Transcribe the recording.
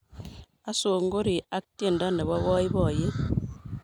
asongorii ak tiendo Nepo poipoiyet